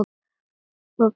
Opið inn!